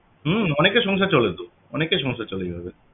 হম অনেকের সংসার চলে তো অনেকের সংসার চলে এভাবে